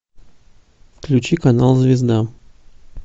включи канал звезда